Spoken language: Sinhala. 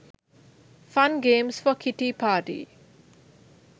fun games for kitty party